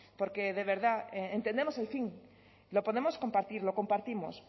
porque de verdad entendemos el fin lo podemos compartir lo compartimos